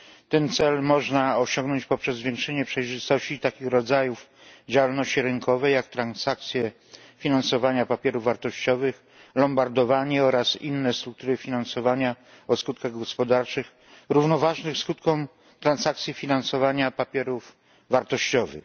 Ten cel można osiągnąć poprzez zwiększenie przejrzystości takich rodzajów działalności rynkowej jak transakcje finansowania papierów wartościowych, lombardowanie oraz inne struktury finansowania o skutkach gospodarczych równoważnych skutkom transakcji finansowania papierów wartościowych.